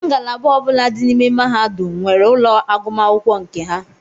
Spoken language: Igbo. Ngalaba ọbula dị n'ime mahadum nwere ụlọ agụmakwụkwọ nke ha.